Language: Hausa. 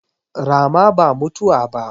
Rama ba mutuwa ba